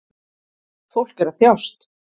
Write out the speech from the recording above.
Fólk er að þjást